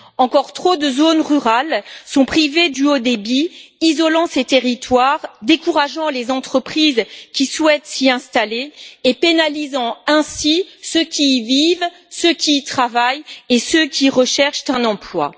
Encore trop de zones rurales sont privées du haut débit, ce qui isole ces territoires, décourage les entreprises qui souhaitent s'y installer et pénalise ainsi ceux qui y vivent, ceux qui y travaillent et ceux qui recherchent un emploi.